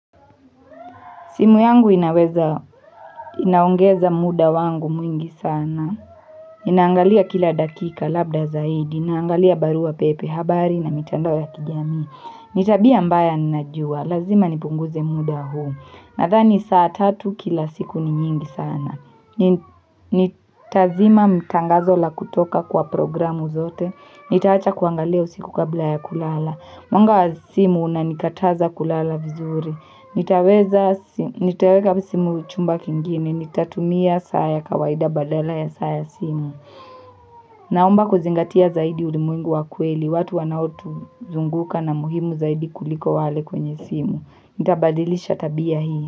Simu yangu inaweza inaongeza muda wangu mwingi sana. Inaangalia kila dakika labda zaidi. Inaangalia barua pepe habari na mitando ya kijamii. Ni tabia mbaya ninajua. Lazima nipunguze muda huu. Nadhani saa tatu kila siku ni nyingi sana. Nitazima mtangazo la kutoka kwa programu zote. Nitaacha kuangalia usiku kabla ya kulala. Mwanga wa simu unanikataza kulala vizuri. Nitaweka simu chumba kingine, nitatumia saa ya kawaida badala ya saa ya simu Naomba kuzingatia zaidi ulimwengu wa kweli, watu wanaotuzunguka na muhimu zaidi kuliko wale kwenye simu Nitabadilisha tabia hii.